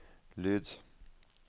lyd